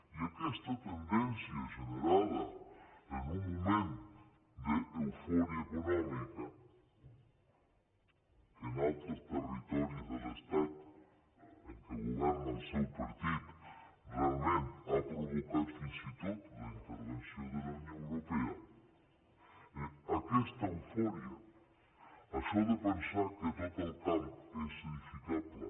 i aquesta tendència generada en un moment d’eufò ria econòmica que en altres territoris de l’estat en què governa el seu partit realment ha provocat fins i tot la intervenció de la unió europea aquesta eufòria això de pensar que tot el camp és edificable